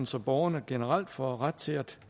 så borgerne generelt får ret til at